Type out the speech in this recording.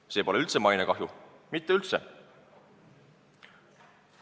Ja see pole üldse mainekahju, mitte üldse!